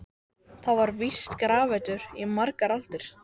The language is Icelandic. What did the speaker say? Ruslafatan strýkst næstum utan í nefið í veggnum.